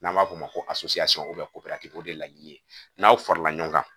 N'an b'a fɔ o ma ko o de ye laɲini ye n'aw farala ɲɔgɔn kan